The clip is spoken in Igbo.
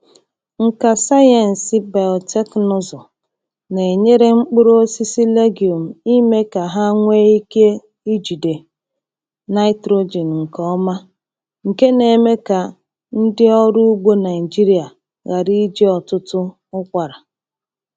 Nka sayensị biotekịnụzụ na-enyere mkpụrụ osisi legume ime ka ha nwee ike ijide nitrogen nke ọma, nke na-eme ka ndị ọrụ ugbo Naịjirịa ghara iji ọtụtụ ụkwara.